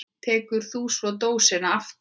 Tekur þú svo dósina aftur?